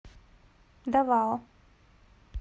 давао